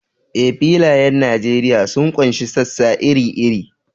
Eh, filayen Nijeriya sun ƙunshi sassa iri-iri.